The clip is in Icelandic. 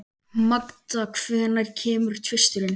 Magda, hvenær kemur tvisturinn?